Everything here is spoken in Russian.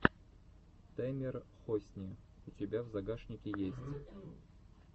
тэмер хосни у тебя в загашнике есть